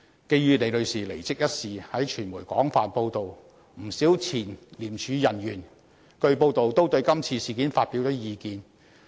基於李女士離職一事經傳媒廣泛報道，不少前廉署人員據報都對今次事件發表了意見。